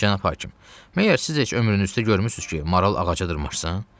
Cənab hakim, məgər siz heç ömrünüzdə görmüsüz ki, maral ağaca dırmaşsın?